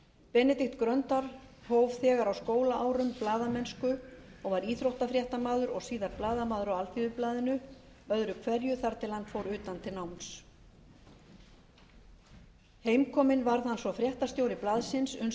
benedikt gröndal hóf þegar á skólaárum blaðamennsku og var íþróttafréttamaður og síðar blaðamaður á alþýðublaðinu öðru hverju þar til hann fór utan til náms heimkominn varð hann svo fréttastjóri blaðsins uns hann varð